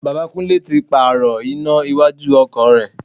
Bàbá Kúnlẹ́ tí pààrò iná iwájú ọkọ̀ rẹ̀.